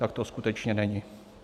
Tak to skutečně není.